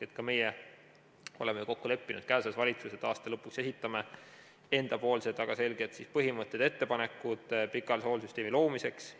Ka meie oleme kokku leppinud käesolevas valitsuses, et aasta lõpuks esitame enda väga selged põhimõtted ja ettepanekud pikaajalise hooldussüsteemi loomiseks.